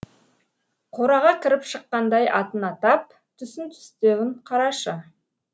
қораға кіріп шыққандай атын атап түсін түстеуін қарашы